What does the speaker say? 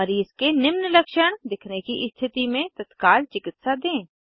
मरीज़ के निम्न लक्षण दिखने की स्थिति में तत्काल चिकित्सा दें